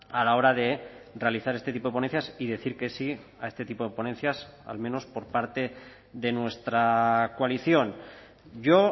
a la hora de realizar este tipo de ponencias y decir que sí a este tipo de ponencias al menos por parte de nuestra coalición yo